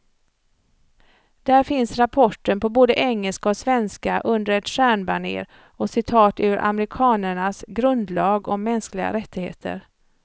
Där finns rapporten på både engelska och svenska, under ett stjärnbanér och citat ur amerikanernas grundlag om mänskliga rättigheter.